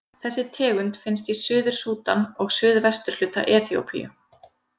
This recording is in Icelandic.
Þessi tegund finnst í Suður-Súdan og suðvesturhluta Eþíópíu.